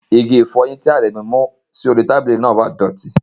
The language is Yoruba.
Ìgì-ìfọ́yin ti Aremu mu si ori tabili náà dọ̀tí.